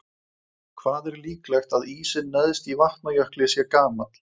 Hvað er líklegt að ísinn neðst í Vatnajökli sé gamall?